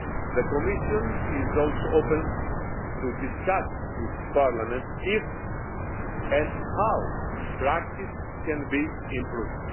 The Commission is also open to discussing with Parliament whether and how practice can be improved.